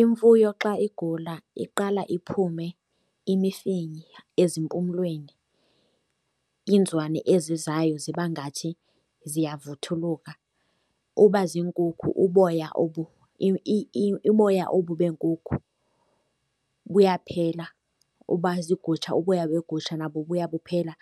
Imfuyo xa igula iqala iphume imifinya ezimpumelweni. Inzwani ezizayo ziba ngathi ziyavuthuluka. Uba ziinkukhu uboya obu beenkukhu buyaphela. Uba ziigusha uboya begusha nabo buyaphela